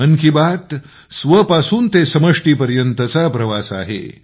मन की बात स्वपासून ते समष्टीपर्यंतचा प्रवास आहे